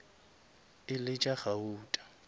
e le tša gauta